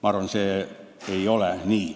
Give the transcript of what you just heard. Ma arvan, nii see ei ole.